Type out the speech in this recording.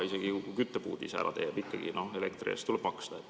Isegi kui küttepuud ise ära teeb, ikkagi elektri eest tuleb maksta.